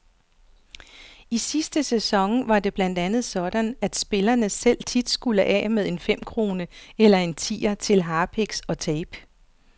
I sidste sæson var det blandt andet sådan, at spillerne selv tit skulle af med en femkrone eller en tier til harpiks og tape.